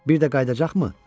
Bir də qayıdacaqmı?